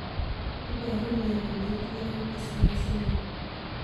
Iporu ne kole itinye Empty sella syndrome?